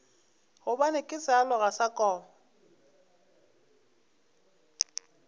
gobane ke sealoga sa koma